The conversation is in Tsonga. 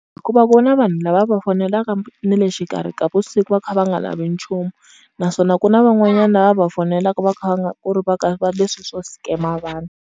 Hikuva vona vanhu lava va fonelaka ni le xikarhi ka vusiku va kha va nga lavi nchumu, naswona ku na van'wanyana lava va fonelaka va kha va nga ku ri va ka va leswi swo scam-a vanhu.